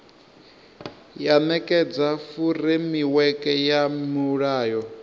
ya nekedza furemiweke ya mulayo